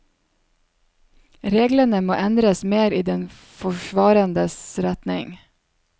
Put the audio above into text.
Reglene må endres mer i den forsvarendes retning.